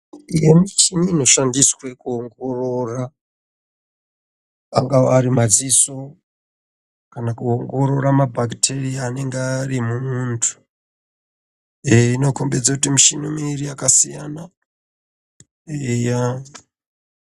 Tine michini inoshandiswa kuwongorora angava ari madziso kana kuwongorora mabhaketeriya anenge ari mumwuntu iyi inokombidze kuti mushini miviri yakasiyana.